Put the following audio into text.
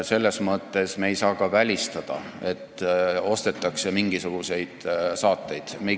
Selles mõttes me ei saa ka välistada, et ostetakse mingisuguseid saateid.